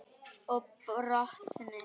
Og brotni.